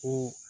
Ko